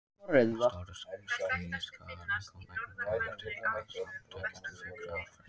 Stóru skíðishvalirnir koma einum kálfi til hvals á tveggja til fjögurra ára fresti.